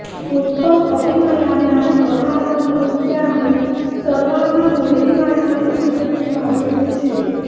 उत्तम अभिनयाने आणि बहारदार नृत्याने सर्वांना मोहिनी घालणारी अभिनेत्री माधुरी दीक्षित